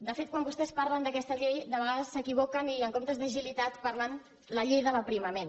de fet quan vostès parlen d’aquesta llei de vegades s’equivoquen i en comptes d’ agilitat parlen de la llei de l’aprimament